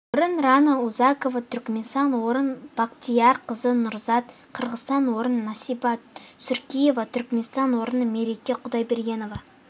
орын рано узакова түркменстан орын бактияр кызы нурзат қырғызстан орын насиба суркиева түркменстан орын мереке кудайбергенова